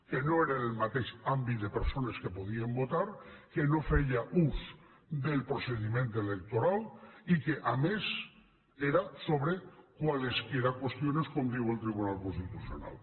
que no era del mateix àmbit de persones que podien votar que no feia ús del procediment electoral i que a més era sobre cualesquiera cuestiones com diu el tribunal constitucional